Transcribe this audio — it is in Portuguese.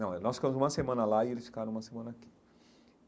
Não, eh nós ficamos uma semana lá e eles ficaram uma semana aqui.